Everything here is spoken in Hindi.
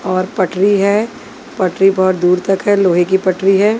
और पटरी है पटरी बहुत दूर तक है लोहे की पटरी है।